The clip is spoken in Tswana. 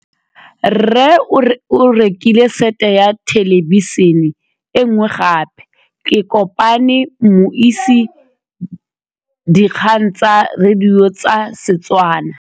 Rre o rekile sete ya thêlêbišênê e nngwe gape. Ke kopane mmuisi w dikgang tsa radio tsa Setswana.